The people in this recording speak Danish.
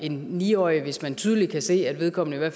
en ni årig hvis man tydeligt kan se at vedkommende